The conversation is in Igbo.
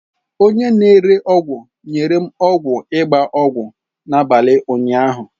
Onye na-ere ọgwụ nyere m ọgwụ ịgba ọgwụ n'abalị ụnyaahụ.